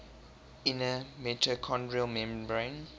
inner mitochondrial membrane